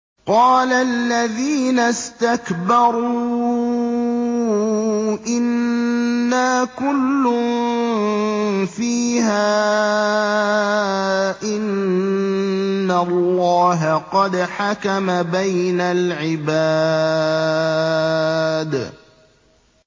قَالَ الَّذِينَ اسْتَكْبَرُوا إِنَّا كُلٌّ فِيهَا إِنَّ اللَّهَ قَدْ حَكَمَ بَيْنَ الْعِبَادِ